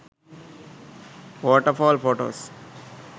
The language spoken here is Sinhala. waterfall photos